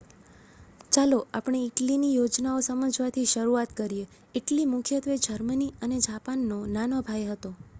"ચાલો આપણે ઇટલીની યોજનાઓ સમજવાથી શરૂઆત કરીએ. ઇટલી મુખ્યત્વે જર્મની અને જાપાનનો "નાનો ભાઈ" હતો.